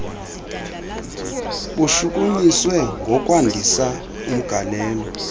bushukunyiswe ngokwandisa umgalelo